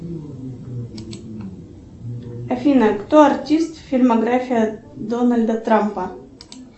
афина кто артист фильмография дональда трампа